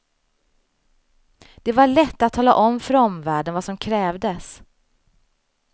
Det var lätt att tala om för omvärlden vad som krävdes.